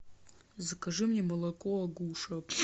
закажи мне молоко агуша